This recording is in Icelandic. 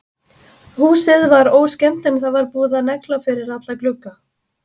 Húsið var óskemmt en það var búið að negla fyrir alla glugga.